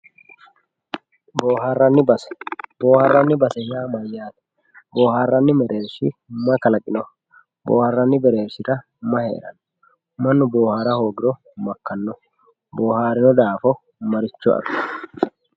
boohaarranni base boohaarranni base yaa mayyaate boohaarranni mayi kalaqinoho boohaarranni merershira mayi heeranno mannu boohara hoogiro makkanno boohaarewo daafo marichcho afiranno